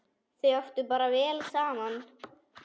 Þau áttu bara vel saman!